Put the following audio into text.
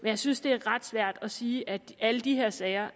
jeg synes det er ret svært at sige at alle de her sager